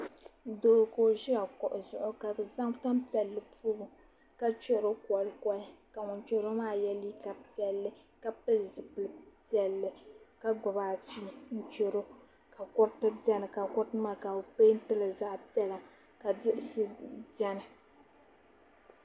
Doo ka o ʒi kuɣu zuɣu ka bi zaŋ tanpiɛlli pobi ka chɛro kolikoli ka ŋun chɛro maa yɛ liiga piɛlli ka pili zipili piɛlli ka gbubi afi n chɛro ka kuriti biɛni ka kuriti maa ka bi peentili zaɣ piɛla ka diɣisi biɛni